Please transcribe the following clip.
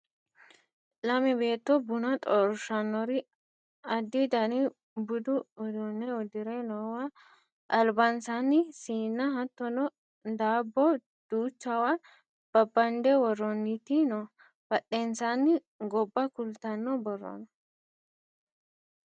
lame beetto buna xorshannori addi dani budu uduunne uddire noowa albansaani siinna hattono daabbo duuchawa babbande worroonniti no badhensaanni gobba kultanno borro no